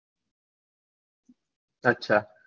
અચ્છા